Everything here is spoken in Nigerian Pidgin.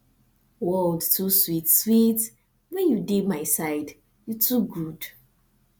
world too sweet sweet when you dey my side you too good